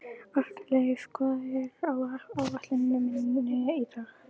Arnleif, hvað er á áætluninni minni í dag?